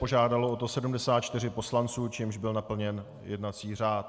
Požádalo o to 74 poslanců, čímž byl naplněn jednací řád.